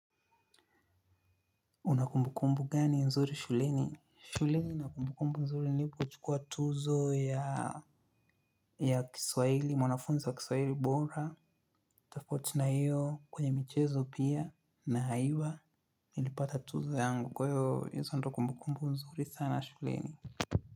Una kumbukumbu gani nzuri shuleni? Shuleni nina kumbukumbu nzuri nipochukua tuzo ya kiswaili, mwanafunza wa kiswahili bora, tofauti na hiyo kwenye mchezo pia, na haiwa, nilipata tuzo yangu kwa hiyo hizo ndo kumbukumbu nzuri sana shuleni.